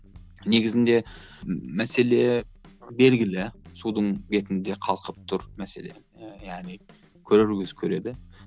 негізінде мәселе белгілі судың бетінде қалқып тұр мәселе яғни көрер көз көреді